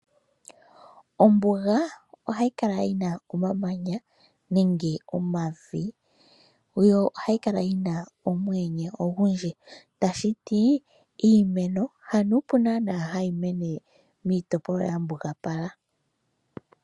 Ombuga ohayi kala yina omamanya nenge omavi. Yo ohayi kala yina omuyenye ogundji. Tashiti iimeno ha nuupu nanaa hayi mene miitopolwa ya mbugapala.